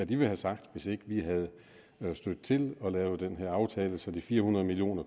ville have sagt hvis ikke vi havde stødt til og lavet den her aftale så de fire hundrede million